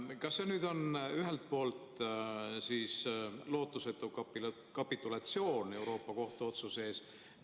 Kas see nüüd on ühelt poolt lootusetu kapitulatsioon Euroopa Liidu Kohtu otsuse ees?